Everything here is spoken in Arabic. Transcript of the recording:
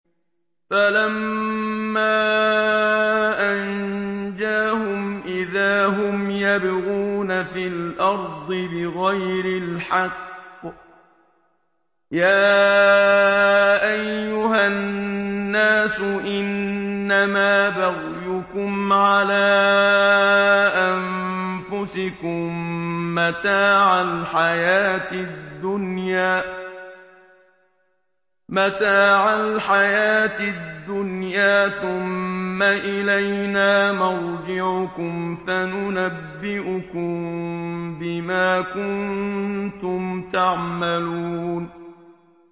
فَلَمَّا أَنجَاهُمْ إِذَا هُمْ يَبْغُونَ فِي الْأَرْضِ بِغَيْرِ الْحَقِّ ۗ يَا أَيُّهَا النَّاسُ إِنَّمَا بَغْيُكُمْ عَلَىٰ أَنفُسِكُم ۖ مَّتَاعَ الْحَيَاةِ الدُّنْيَا ۖ ثُمَّ إِلَيْنَا مَرْجِعُكُمْ فَنُنَبِّئُكُم بِمَا كُنتُمْ تَعْمَلُونَ